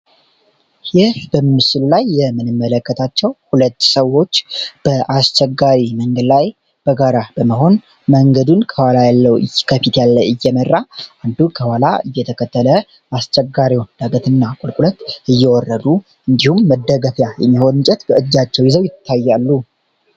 ይህ በምስል ላይ የምንመለከታቸው 2 ሰዎች በአስቸጋሪ መንገድ ላይ በጋራ በመሆን መንገዱን ከፊት ያለው እየመራ አንዱ ከኋላ እየተከተለ አስቸጋሪውን ዳገት እና ቁልቁለት እየወረዱ እንዲሁም መደገፊያ የሚሆን እንጨት በእጃቸው ይዘው ይታያሉ።